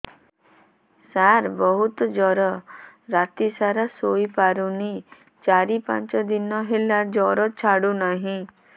ସାର ବହୁତ ଜର ରାତି ସାରା ଶୋଇପାରୁନି ଚାରି ପାଞ୍ଚ ଦିନ ହେଲା ଜର ଛାଡ଼ୁ ନାହିଁ